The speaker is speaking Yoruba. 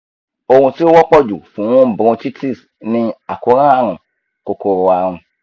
ohun tí ó wọ́pọ̀ jù fún bronchitis ni àkóràn àrùn kòkòrò àrùn